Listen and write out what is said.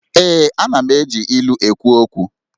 Ee, Ana m eji ilu ekwu okwu